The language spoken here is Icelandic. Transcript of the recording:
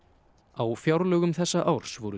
á fjárlögum þessa árs voru